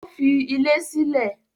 Ó fi ilé sílẹ̀?